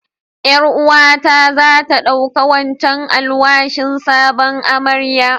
Yar uwa ta za ta ɗauka wancan alwashin sabon amarya.